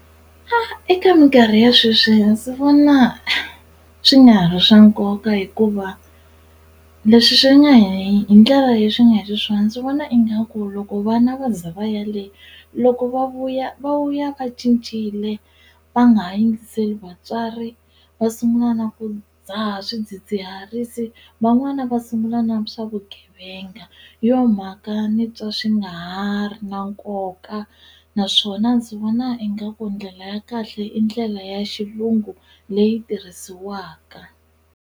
A eka minkarhi ya sweswi ndzi vona swi nga ha ri swa nkoka hikuva leswi swi nga hi ndlela leyi swi nga hi xiswona ndzi vona ingaku loko vana va za va ya le loko va vuya va vuya va cincile va nga ha yingiseli vatswari va sungula na ku dzaha swidzidziharisi van'wana va sungula na swa vugevenga hi yo mhaka ni twa swi nga ha ri na nkoka naswona ndzi vona ingaku ndlela ya kahle i ndlela ya xilungu leyi tirhisiwaka.